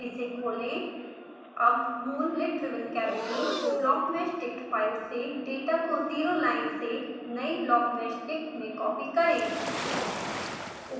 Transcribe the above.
इसे खोलें अब मूल lid driven cavity blockmeshdict file से डेटा को ज़ीरो लाइन से नयी blockmeshdict में कॉपी करें